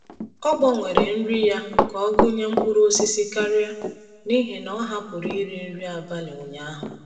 Ọ gbanwere nri ya ka ọ gụnye mkpụrụ osisi karịa n’ihi na ọ hapụrụ iri nri abalị ụnyaahụ.